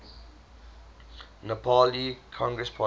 nepali congress party